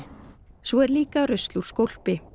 svo er líka rusl úr skólpi